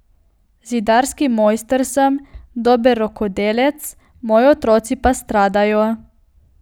Zidarski mojster sem, dober rokodelec, moji otroci pa stradajo.